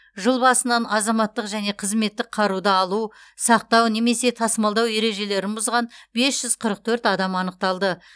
жыл басынан азаматтық және қызметтік қаруды алу сақтау немесе тасымалдау ережелерін бұзған бес жүз қырық төрт адам анықталды